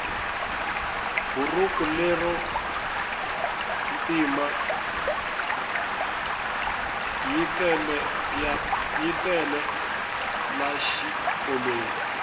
burhuku lero ntima yitele la xikolweni